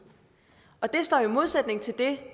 og det står i modsætning til det